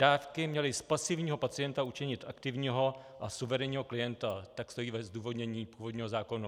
Dávky měly z pasivního pacienta učinit aktivního a suverénního klienta - tak stojí ve zdůvodnění původního zákona.